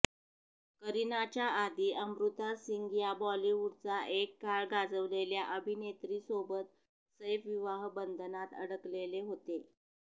करिनाच्या आधी अमृता सिंग या बॉलिवूडचा एक काळ गाजवलेल्या अभिनेत्रीसोबत सैफ विवाहबंधनात अडकलेले होते